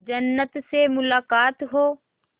जन्नत से मुलाकात हो